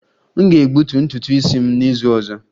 M ga-egbutu ntutu isi m n'izu ọzọ